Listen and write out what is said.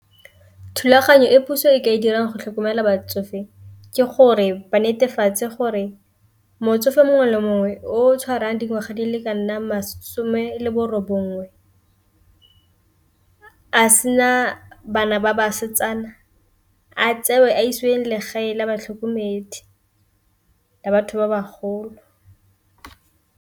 Thulaganyo e puso e ka e dirang go tlhokomela batsofe ke gore ba netefatse gore motsofe mongwe le mongwe o tshwarang dingwaga di le ka nna masome le borobongwe, a sena bana ba basetsana a tsewe a iseng legae la batlhokomedi la batho ba ba golo.